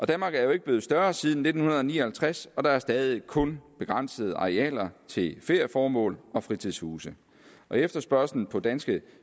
danmark er jo ikke blevet større siden nitten ni og halvtreds og der er stadig væk kun begrænsede arealer til ferieformål og fritidshuse efterspørgslen på danske